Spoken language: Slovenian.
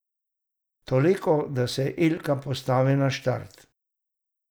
Toliko da se Ilka postavi na štart.